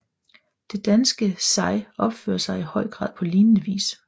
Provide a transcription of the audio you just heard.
Det danske sig opfører sig i høj grad på lignende vis